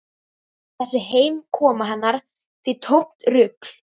Þessi heimkoma hennar því tómt rugl.